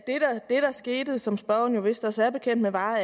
det der skete og som spørgeren vist også er bekendt med var